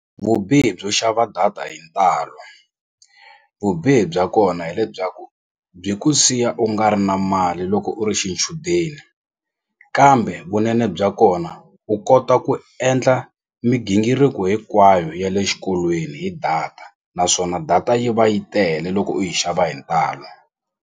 Vubihi byo xava data hi ntalo vubihi bya kona hi lebyaku byi ku siya u nga ri na mali loko u ri xichudeni kambe vunene bya kona u kota ku endla migingiriko hinkwayo ya le xikolweni hi data naswona data yi va yi tele loko u yi xava hi ntalo.